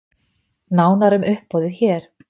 Nánar um uppboðið hér